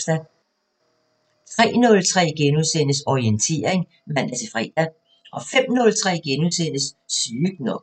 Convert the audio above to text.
03:03: Orientering *(man-fre) 05:03: Sygt nok *